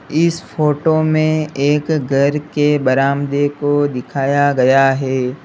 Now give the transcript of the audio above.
इस फोटो में एक घर के बरामदे को दिखाया गया है।